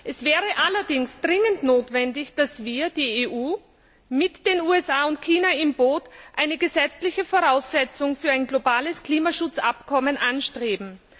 Es wäre allerdings dringend notwendig, dass wir, die EU, mit den USA und China im Boot, eine gesetzliche Voraussetzung für ein globales Klimaschutzabkommen anstreben.